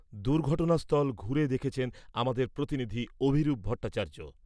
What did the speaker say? দুর্ঘটনাস্থল ঘুরে দেখেছেন আমাদের প্রতিনিধি অভিরূপ ভট্টাচার্য ।